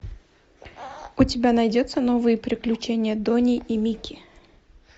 у тебя найдется новые приключения дони и микки